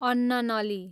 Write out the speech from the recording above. अन्ननली